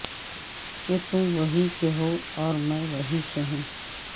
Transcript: کہ تم وہیں کے ہواور میں وہیں سے ہوں